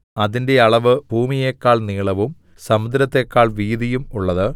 അതിന്റെ അളവ് ഭൂമിയെക്കാൾ നീളവും സമുദ്രത്തെക്കാൾ വീതിയും ഉള്ളത്